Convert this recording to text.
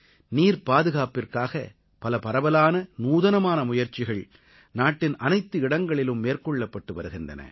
நீர்ப்பாதுகாப்பிற்காக பல பரவலான நூதனமான முயற்சிகள் நாட்டின் அனைத்து இடங்களிலும் மேற்கொள்ளப்பட்டு வருகின்றன